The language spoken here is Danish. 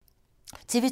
TV 2